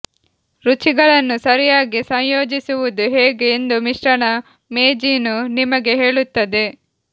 ರುಚಿಗಳನ್ನು ಸರಿಯಾಗಿ ಸಂಯೋಜಿಸುವುದು ಹೇಗೆ ಎಂದು ಮಿಶ್ರಣ ಮೇಜಿನು ನಿಮಗೆ ಹೇಳುತ್ತದೆ